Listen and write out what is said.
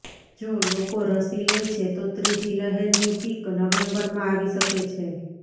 જો લોકો રસી લે છે તો ત્રીજી લહેરની પીક નવેમ્બરમાં આવી શકે છે